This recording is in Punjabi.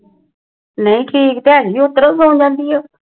ਨਹੀ ਠੀਕ ਹੈ ਨੀ